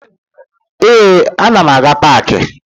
Ee, ana m aga paakị